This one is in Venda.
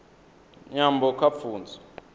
nyambo kha pfunzo